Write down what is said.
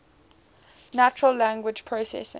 natural language processing